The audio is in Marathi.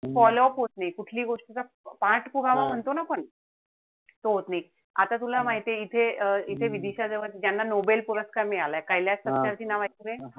Follow up होत नाई. कुठली गोष्टीचा पाठपुरावा म्हणतो न आपण तो होत नाही. आता तुला माहितीये इथे इथे विदिशा ज्याना nobel पुरस्कार मिळालाय. च नाव ऐकलय?